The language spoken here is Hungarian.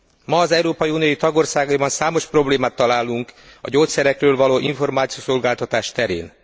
Ma az Európai Unió tagországaiban számos problémát találunk a gyógyszerekről való információszolgáltatás terén.